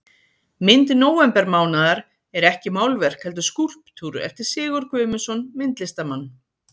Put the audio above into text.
mynd nóvembermánaðar er ekki málverk heldur skúlptúr eftir sigurð guðmundsson myndlistarmann